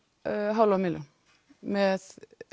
hálfa milljón með